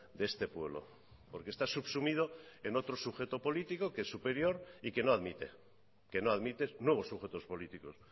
de este pueblo porque está subsumido en otro sujeto político que es superior y que no admite que no admite nuevos sujetos políticos